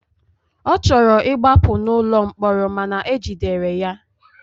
Ọ chọrọ ịgbapụ n'ụlọ mkpọrọ mana ejidere ya.